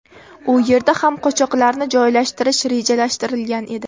U yerda ham qochoqlarni joylashtirish rejalashtirilgan edi.